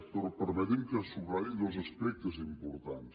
però permeti’m que en subratlli dos aspectes importants